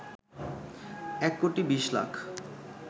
এক কোটি ২০ লাখ